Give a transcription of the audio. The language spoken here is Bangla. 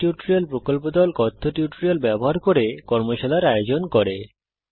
কথ্য টিউটোরিয়াল প্রকল্প দল কথ্য টিউটোরিয়াল ব্যবহার করে কর্মশালার আয়োজন করে